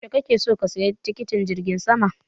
Yaushe kake so ka saya tikitin jirgin sama?